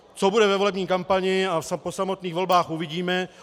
Co bude ve volební kampani a po samotných volbách, uvidíme.